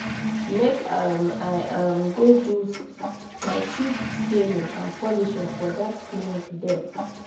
make um i um go do my teeth scaling and polishing for dat clinic there.